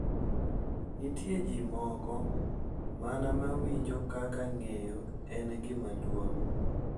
Nitie ji moko mana ma winjo kaka ng’eyo en gima duong’.